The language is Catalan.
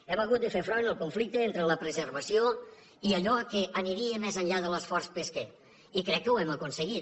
hem hagut de fer front al conflicte entre la preservació i allò que aniria més enllà de l’esforç pesquer i crec que ho hem aconseguit